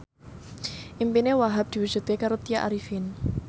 impine Wahhab diwujudke karo Tya Arifin